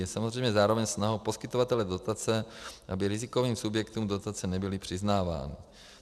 Je samozřejmě zároveň snahou poskytovatele dotace, aby rizikovým subjektům dotace nebyly přiznávány.